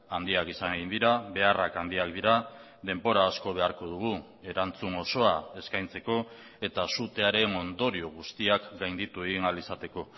handiak izan egin dira beharrak handiak dira denbora asko beharko dugu erantzun osoa eskaintzeko eta sutearen ondorio guztiak gainditu egin ahal izateko